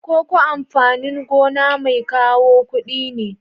Koko amfanin gona mai kawo kudi ne.